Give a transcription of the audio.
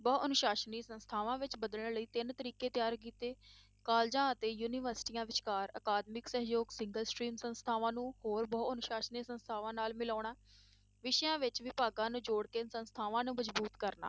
ਬਹੁ ਅਨੁਸਾਸਨੀ ਸੰਸਥਾਵਾਂ ਵਿੱਚ ਬਦਲਣ ਲਈ ਤਿੰਨ ਤਰੀਕੇ ਤਿਆਰ ਕੀਤੇ colleges ਤੇ ਯੂਨੀਵਰਸਟੀਆਂ ਵਿਚਕਾਰ ਅਕਾਦਮਿਕ ਸਹਿਯੋਗ Single strain ਸੰਸਥਾਵਾਂ ਨੂੰ ਹੋਰ ਬਹੁ ਅਨੁਸਾਸਨੀ ਸੰਸਥਾਵਾਂ ਨਾਲ ਮਿਲਾਉਣਾ, ਵਿਸ਼ਿਆਂ ਵਿੱਚ ਵਿਭਾਗ ਨੂੰ ਜੋੜ ਕੇ ਸੰਸਥਾਵਾਂ ਨੂੰ ਮਜ਼ਬੂਤ ਕਰਨਾ।